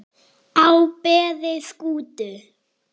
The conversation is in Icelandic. á beði Skútu